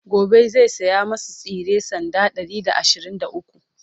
gobe zai saya masu tsire sanda Ɗari da ashirin da ukwu